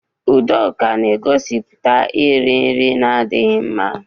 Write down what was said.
Udoka na-egosiputa iri nri na-adịghị mma.